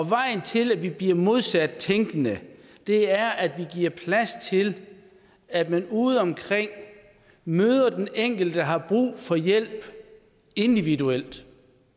vejen til at vi bliver modsat tænkende er at vi giver plads til at man udeomkring møder den enkelte der har brug for hjælp individuelt